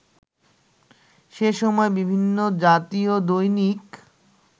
সে সময় বিভিন্ন জাতীয় দৈনিক